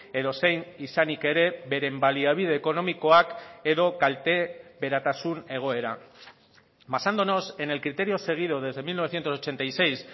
edozein izanik ere beren baliabide ekonomikoak edo kalte beratasun egoera basándonos en el criterio seguido desde mil novecientos ochenta y seis